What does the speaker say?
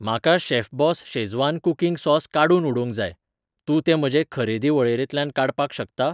म्हाका Chef Boss Schezwan cooking sauce काडून उडोवंक जाय, तूं तें म्हजे खरेदी वळेरेंतल्यान काडपाक शकता?